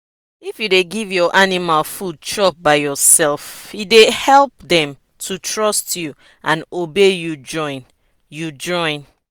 if you dey give your animal food chop by yourselfe dey help dem to trust you and obey you join. you join.